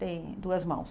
Tem duas mãos.